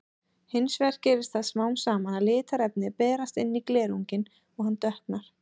Hins vegar gerist það smám saman að litarefni berast inn í glerunginn og hann dökknar.